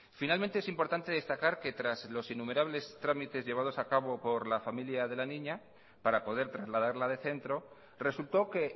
finalmente es importante destacar que tras los innumerables trámites llevados a cabo por la familia de la niña para poder trasladarla de centro resultó que